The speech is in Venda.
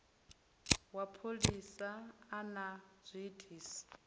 wa pholisa a na zwiitisi